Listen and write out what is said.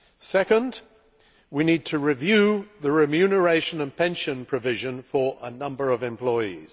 Second, we need to review the remuneration and pension provisions for a number of employees.